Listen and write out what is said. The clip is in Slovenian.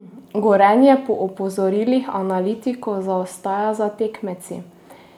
Gorenje po opozorilih analitikov zaostaja za tekmeci.